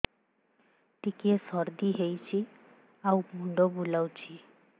ଟିକିଏ ସର୍ଦ୍ଦି ହେଇଚି ଆଉ ମୁଣ୍ଡ ବୁଲାଉଛି